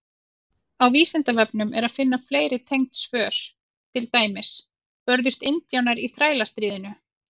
Á Vísindavefnum er að finna fleiri tengd svör, til dæmis: Börðust indjánar í Þrælastríðinu?